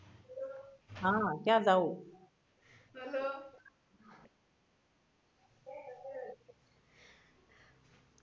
હા ક્યાં જાવું hello